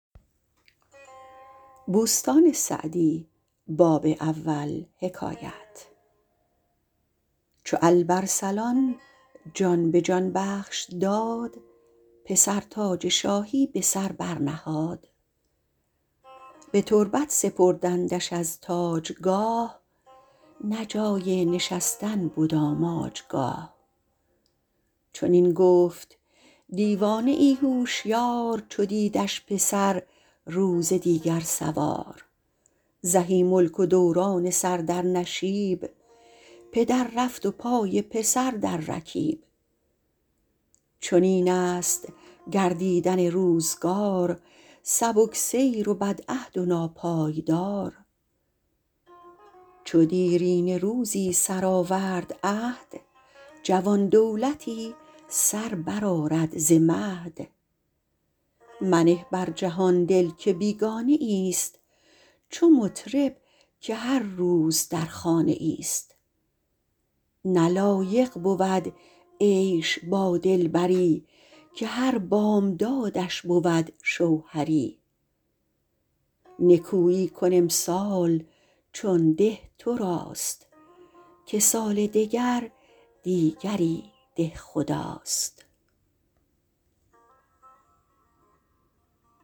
چو الب ارسلان جان به جان بخش داد پسر تاج شاهی به سر برنهاد به تربت سپردندش از تاجگاه نه جای نشستن بد آماجگاه چنین گفت دیوانه ای هوشیار چو دیدش پسر روز دیگر سوار زهی ملک و دوران سر در نشیب پدر رفت و پای پسر در رکیب چنین است گردیدن روزگار سبک سیر و بدعهد و ناپایدار چو دیرینه روزی سرآورد عهد جوان دولتی سر برآرد ز مهد منه بر جهان دل که بیگانه ای است چو مطرب که هر روز در خانه ای است نه لایق بود عیش با دلبری که هر بامدادش بود شوهری نکویی کن امسال چون ده تو راست که سال دگر دیگری دهخداست